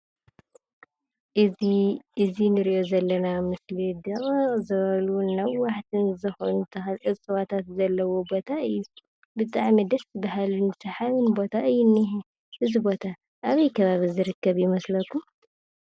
እዚ ንሪኦ ዘለና ምስሊ ድቕቕ ዝበሉን ነዋሓትን ዝኾኑ ተኽሊ ዕፆዋታት ዘሎዎ ቦታ እዩ። ብጣዕሚ ደስ በሃሊ ቦታ እዩ ዝንሄ። እዚ ቦታ ኣበይ ከባቢ ዝርከብ ይመስለኩም?